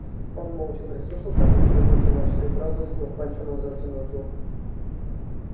он молча прислушался а потом закончил начатую фразу ткнув пальцем назад в темноту